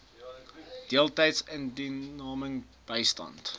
deeltydse indiensneming bystand